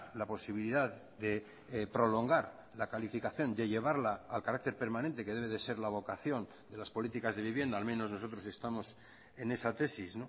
la posibilidad de prolongar la calificación de llevarla al carácter permanente que debe de ser la vocación de las políticas de vivienda al menos nosotros estamos en esa tesis